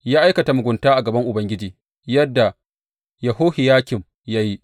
Ya aikata mugunta a gaban Ubangiji yadda Yehohiyakim ya yi.